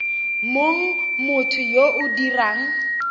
mong motho yo o dirang